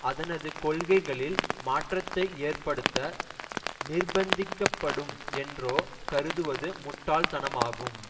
அதனது கொள்கைகளில் மாற்றத்தை ஏற்படுத்த நிர்ப்பந்திக்கப்படும் என்றோ கருதுவது முட்டாள்தனமாகும்